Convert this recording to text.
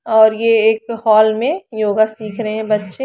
और ये एक हॉल में योगा सीख रहे हैं बच्चे।